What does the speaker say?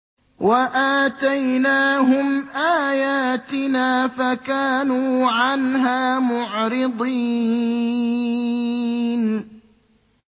وَآتَيْنَاهُمْ آيَاتِنَا فَكَانُوا عَنْهَا مُعْرِضِينَ